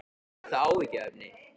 Er það áhyggjuefni?